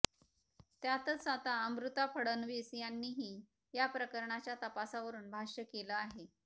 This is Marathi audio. त्यातच आता अमृता फडणवीस यांनीही या प्रकरणाच्या तपासावरुन भाष्य केलं आहे